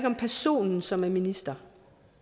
om personen som er minister